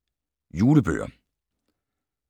Julebøger